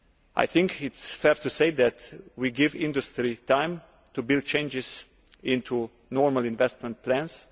I think it is fair to say that we give industry time to build changes into normal investment plans.